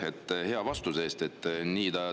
Aitäh hea vastuse eest!